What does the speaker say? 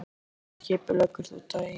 Hvernig skipuleggur þú daginn?